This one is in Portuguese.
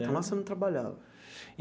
Então, lá você não trabalhava?